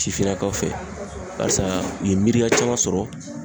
Sifinnakaw fɛ barisa u ye miiriya caman sɔrɔ